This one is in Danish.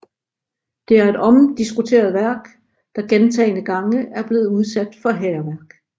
Det er et omdiskuteret værk der gentagne gange er blevet udsat for hærværk